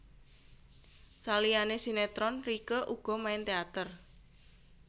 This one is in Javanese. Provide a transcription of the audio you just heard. Saliyané sinetron Rieke uga main teater